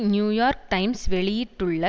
New York Times வெளியிட்டுள்ள